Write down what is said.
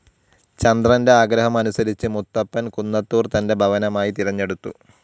ചന്ദ്രൻ്റെ ആഗ്രഹം അനുസരിച്ച് മുത്തപ്പൻ കുന്നത്തൂർ തൻ്റെ ഭവനമായി തിരഞ്ഞെടുത്തു.